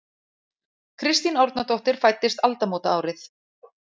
Kristín Árnadóttir fæddist aldamótaárið.